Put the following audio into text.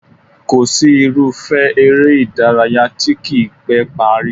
Kò sí irúfẹ́ eré ìdárayá tí kì í pẹ́ parí